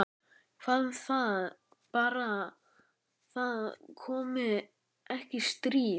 Hvað um það- bara það komi ekki stríð.